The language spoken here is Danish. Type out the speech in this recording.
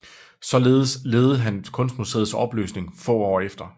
Således ledede han Kunstmuseets opløsning få år efter